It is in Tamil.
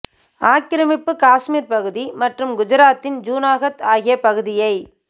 ஆக்கிரமிப்பு காஷ்மீர் பகுதி மற்றும் குஜராத்தின் ஜூனாகத் ஆகிய பகுதியை